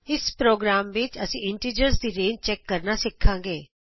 ਇਸ ਪ੍ਰੋਗਰਾਮ ਵਿਚ ਅਸੀਂ ਇੰਟੀਜ਼ਰਸ ਦੀ ਰੇਂਜ ਚੈਕ ਕਰਨਾ ਸਿਖਾਂਗੇ